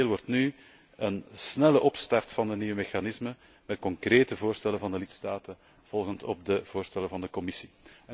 Essentieel wordt nu een snelle opstart van de nieuwe mechanismen met concrete voorstellen van de lidstaten volgend op de voorstellen van de Commissie.